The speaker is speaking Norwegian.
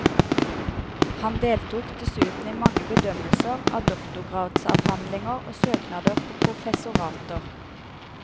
Han deltok dessuten i mange bedømmelser av doktorgradsavhandlinger og søknader på professorater.